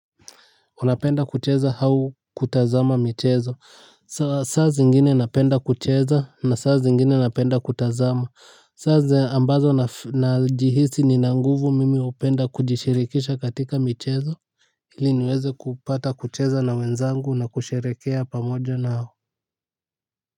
Unapenda kucheza hau kutazama michezo saa zingine napenda kucheza na saa zingine napenda kutazama saa ze ambazo najihisi nina nguvu mimi hupenda kujishirikisha katika michezo ili niweze kupata kucheza na wenzangu na kusherekea pamoja na hao.